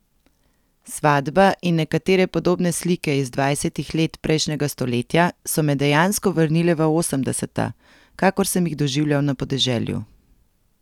Svatba in nekatere podobne slike iz dvajsetih let prejšnjega stoletja so me dejansko vrnile v osemdeseta, kakor sem ji doživljal na podeželju.